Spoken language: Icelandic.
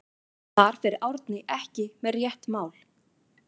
Þar fer Árni ekki með rétt mál.